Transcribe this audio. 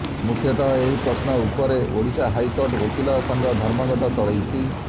ମୁଖ୍ୟତଃ ଏହି ପ୍ରଶ୍ନ ଉପରେ ଓଡ଼ିଶା ହାଇକୋର୍ଟ ଓକିଲ ସଂଘ ଧର୍ମଘଟ ଚଳେଇଛି